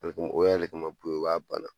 o yɛrɛ le kama o b'a bana.